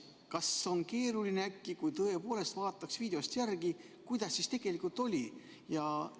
Kas on keeruline, kui äkki tõepoolest vaadata videost järgi, kuidas siis tegelikult oli?